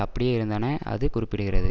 அப்படியே இருந்தன அது குறிப்பிடுகிறது